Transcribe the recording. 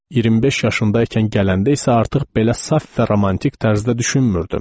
25 yaşında ikən gələndə isə artıq belə saf və romantik tərzdə düşünmürdüm.